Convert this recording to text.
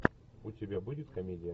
у тебя будет комедия